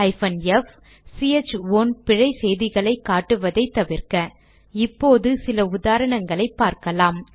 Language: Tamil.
f சிஹெச் ஓன் பிழை செய்திகளை காட்டுவதை தவிர்க்க இப்போது சில உதாரணங்களை பார்க்கலாம்